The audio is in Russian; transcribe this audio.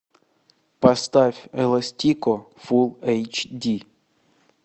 поставь эластико фулл эйч ди